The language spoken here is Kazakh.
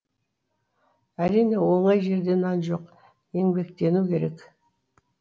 әрине оңай жерде нан жоқ еңбектену керек